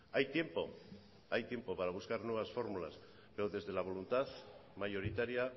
hay tiempo hay tiempo para buscar nuevas formulas pero desde la voluntad mayoritaria